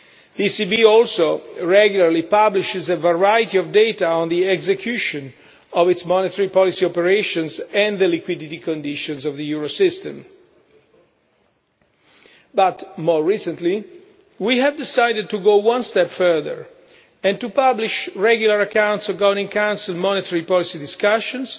The ECB also regularly publishes a variety of data on the execution of its monetary policy operations and the liquidity conditions of the Eurosystem. But more recently, we have decided to go one step further and to publish regular accounts of Governing Council monetary policy discussions,